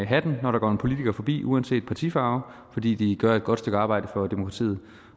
hatten når der går en politiker forbi uanset partifarve fordi de gør et godt stykke arbejde for demokratiet